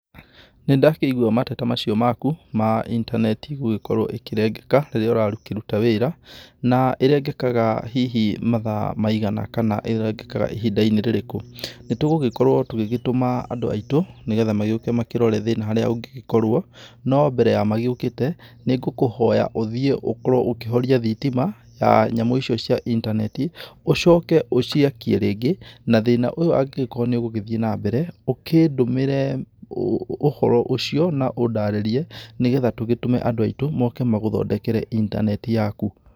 Nĩndakĩigũa mateta macio maku, ma intaneti gũgĩkorwo ĩkĩrengeka rĩria ũrakĩruta wĩra na ĩrengekaga hihi mathaa maigana, kana ĩrengekaga ihinda - inĩ rĩrĩkũ, nĩtũgũgĩkorwo tũgĩgĩtũma andũ aitũ nĩgetha magĩũke makĩrore thĩna haria ũngĩgĩkorwo, no mbere ya magĩũkĩte, nĩngũkũhoya ũthiĩ ũkorwo ũkĩhoria thĩtima. ya nyamu icio cia intaneti, ũcoke ũciakie rĩngĩ, na thĩna ũyo angĩgĩkorwo nĩũgũgĩthie na mbere, ũkĩndũmĩre úũ ũhoro ucio na ũndarĩrie, nĩgetha tũgĩtũme andũ aitũ moke magũthondekere intaneti yaku.